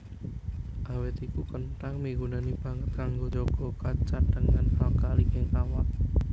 Awit iku kenthang migunani banget kanggo njaga cadhangan alkali ing awak